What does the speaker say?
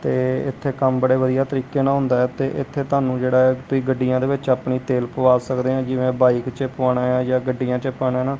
ਤੇ ਇਥੇ ਕੰਮ ਬੜੇ ਵਧਿਆ ਤਰੀਕੇ ਨਾਲ ਹੁੰਦਾ ਹੈ ਤੇ ਇਥੇ ਤੁਹਾਨੂੰ ਜੇੜਾ ਐ ਤੁਸੀਂ ਗੱਡੀਆਂ ਦੇ ਵਿਚ ਅਪਣੀ ਤੇਲ ਪਵਾ ਸਕਦੇ ਆ ਜਿਵੇ ਬਾਈਕ ਚ ਪਵਾਣਾ ਹੈ ਯਾ ਗੱਡੀਆਂ ਚ ਪਾਣਾ ਹੈਨਾ।